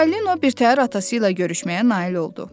Çipalino birtəhər atası ilə görüşməyə nail oldu.